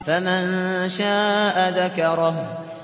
فَمَن شَاءَ ذَكَرَهُ